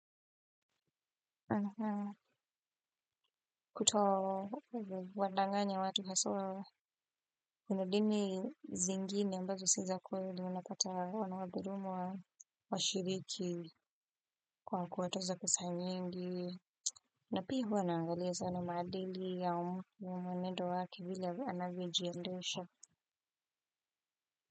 Sana sana kutowadanganya watu haswa kuna dini zingine ambazo si za kweli unapata wanawadulumu washiriki kwa kuwatoza pesa nyingi na pia huwa naangalia sana maadili ya mtu na mwanedo wake vile anavyojiendesha.